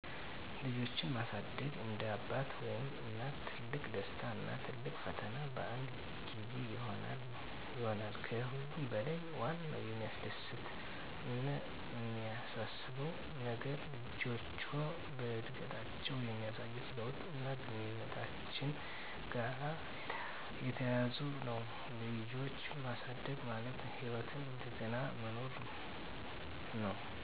ልጆችን ማሳደግ እንደ አባት ወይም እናት ትልቅ ደስታ እና ትልቅ ፈተና በአንድ ጊዜ ይሆናል። ከሁሉም በለይ ዋናው የሚያስደስት አነ የሚያሳስበው ነገር ልጆችዎ በአድገታችዉ የሚያሳዩት ለውጥ አና ግንኙነታችን ጋራ የተያያዘ ነው። ልጅ ማሳደግ ማለት ህይወትን እንደገና መኖር ነው።